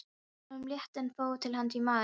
Honum létti en fann þó til hnúts í maganum.